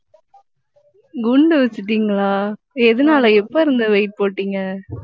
குண்டு வச்சுட்டீங்களா எதனால எப்ப இருந்து weight போட்டீங்க